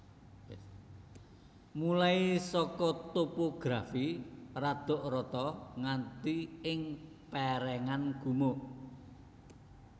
Mulai saka topografi radok rata nganti ing pèrèngan gumuk